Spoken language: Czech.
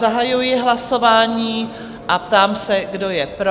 Zahajuji hlasování a ptám se, kdo je pro?